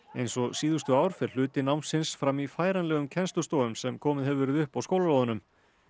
eins og síðustu ár fer hluti námsins fram í færanlegum kennslustofum sem komið hefur verið upp á skólalóðunum